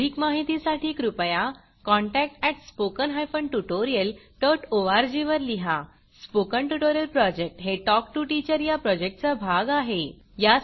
अधिक माहितीसाठी कृपया contact at spoken hyphen tutorial dot org वर लिहा स्पोकन ट्युटोरियल प्रॉजेक्ट हे टॉक टू टीचर या प्रॉजेक्टचा भाग आहे